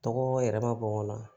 Tɔgɔ yɛrɛ ma bɔ n kɔnɔ